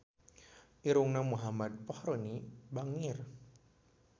Irungna Muhammad Fachroni bangir